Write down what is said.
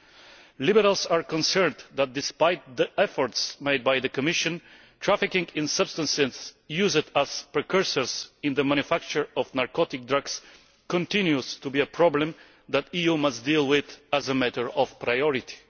The Liberals are concerned that, despite the efforts made by the Commission, trafficking in substances used as precursors in the manufacture of narcotic drugs continues to be a problem that the EU must deal with as a matter of priority.